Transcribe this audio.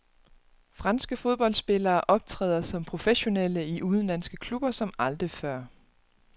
Franske fodboldspillere optræder som professionelle i udenlandske klubber som aldrig før.